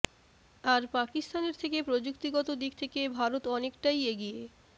আর পাকিস্তানের থেকে প্রযুক্তিগত দিক থেকে ভারত অনেকটাই এগিয়ে